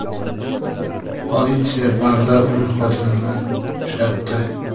Politsiya barda uning xotinini uchratdi .